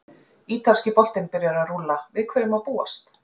Ítalski boltinn byrjar að rúlla- Við hverju má búast?